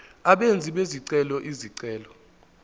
abenzi bezicelo izicelo